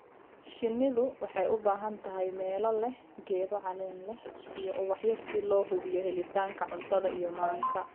Shinnidu waxay u baahan tahay meelo leh geedo caleen leh iyo ubaxyo si loo hubiyo helitaanka cuntada iyo manka.